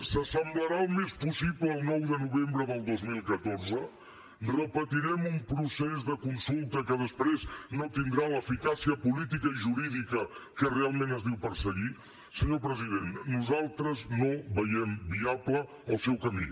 s’assemblarà el més possible al nou de novembre del dos mil catorze repetirem un procés de consulta que després no tindrà l’eficàcia política i jurídica que realment es diu perseguir senyor president nosaltres no veiem viable el seu camí